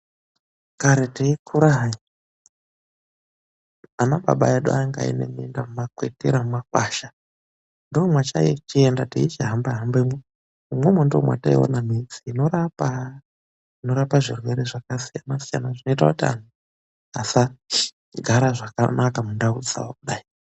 Kare teikura hai, ana baba edu vlanga ane minda kumakwetira mumakwasha ndomataienda teichihamba hambemwo, umwomwo ndoomataione mitombo yekurapa. Inorapa mikuhlani yakasiyana siyana zvoita kuti vandu vasagara zvakanaka mundau dzawo kudai.